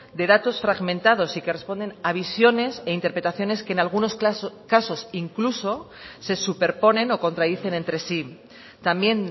de datos fragmentados y que responden a visiones e interpretaciones que en algunos casos incluso se superponen o contradicen entre sí también